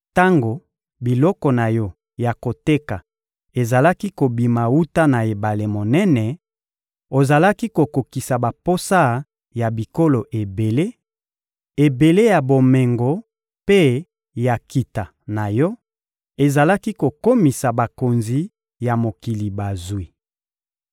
Tango biloko na yo ya koteka ezalaki kobima wuta na ebale monene, ozalaki kokokisa baposa ya bikolo ebele; ebele ya bomengo mpe ya nkita na yo ezalaki kokomisa bakonzi ya mokili bazwi.